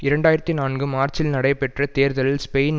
இரண்டு ஆயிரத்தி நான்கு மார்ச்சில் நடைபெற்ற தேர்தலில் ஸ்பெயின்